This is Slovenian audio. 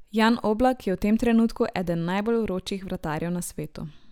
Jan Oblak je v tem trenutku eden najbolj vročih vratarjev na svetu.